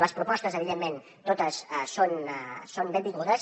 les propostes evidentment totes són benvingudes